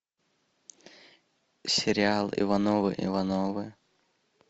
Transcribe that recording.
сериал ивановы ивановы